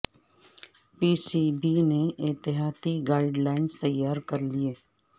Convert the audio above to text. پی C B نے احتیاطی guidelines تیار کرلیں